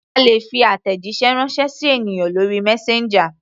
A lè fi àtẹ̀jíṣẹ́ ránṣẹ́ sí ènìyàn lórí messenger.